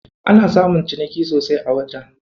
Ana samun ciniki sosai a wajen.